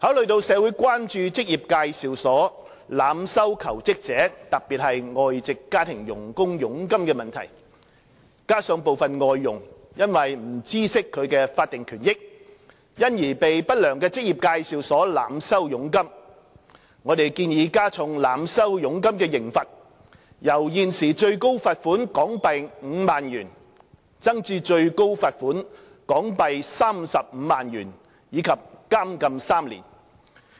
考慮到社會關注職業介紹所濫收求職者，特別是外籍家庭傭工佣金的問題，加上部分外傭因不知悉其法定權益，因而被不良職業介紹所濫收佣金，我們建議加重濫收佣金的刑罰，由現時最高罰款港幣5萬元增至最高罰款港幣35萬元及監禁3年，